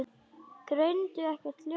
Greindu ekkert ljós.